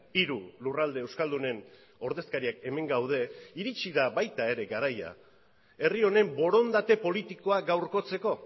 hiru lurralde euskaldunen ordezkariak hemen gaude iritsi da baita ere garaia herri honen borondate politikoa gaurkotzeko